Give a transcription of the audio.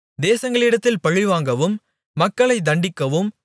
தேசங்களிடத்தில் பழிவாங்கவும் மக்களைத் தண்டிக்கவும்